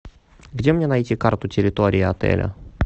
где мне найти карту территории отеля